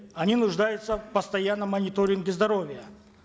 они нуждаются в постоянном мониторинге здоровья